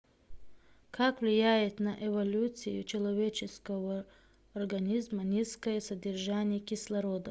как влияет на эволюцию человеческого организма низкое содержание кислорода